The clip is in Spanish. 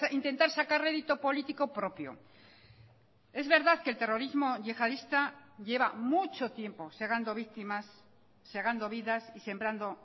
intentar sacar rédito político propio es verdad que el terrorismo yihadista lleva mucho tiempo segando víctimas segando vidas y sembrando